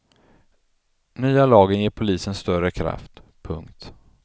Nya lagen ger polisen större kraft. punkt